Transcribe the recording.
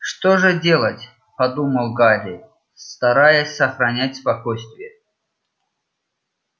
что же делать подумал гарри стараясь сохранять спокойствие